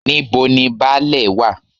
Níbo ni Baálẹ̀ wá?